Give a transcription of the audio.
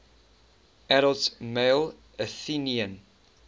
adult male athenian